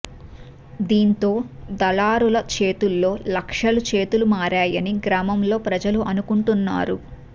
దీంతో దళారుల చేతుల్లో లక్షలు చేతులు మారాయని గ్రామంలో ప్రజలు అనుకుంటున్నారు